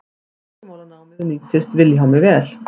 tungumálanámið nýttist vilhjálmi vel